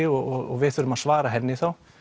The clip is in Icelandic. og við þurfum að svara henni þá